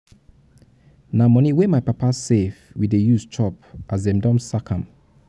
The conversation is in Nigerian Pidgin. na moni wey my papa save we dey use chop as dem chop as dem don sack am.